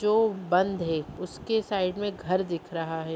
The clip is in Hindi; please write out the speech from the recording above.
जो बंद है उसके साइड मे घर दिख रहा है।